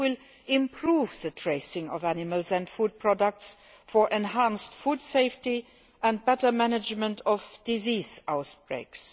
It will improve the tracing of animals and food products for enhanced food safety and better management of disease outbreaks.